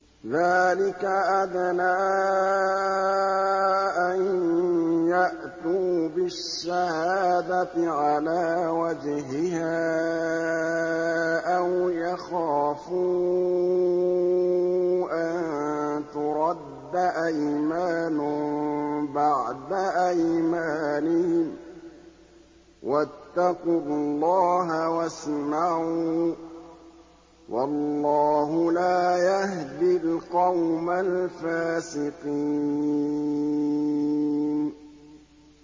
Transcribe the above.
ذَٰلِكَ أَدْنَىٰ أَن يَأْتُوا بِالشَّهَادَةِ عَلَىٰ وَجْهِهَا أَوْ يَخَافُوا أَن تُرَدَّ أَيْمَانٌ بَعْدَ أَيْمَانِهِمْ ۗ وَاتَّقُوا اللَّهَ وَاسْمَعُوا ۗ وَاللَّهُ لَا يَهْدِي الْقَوْمَ الْفَاسِقِينَ